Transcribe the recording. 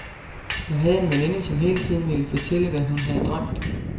Jeg havde en veninde, som hele tiden ville fortælle, hvad hun havde drømt.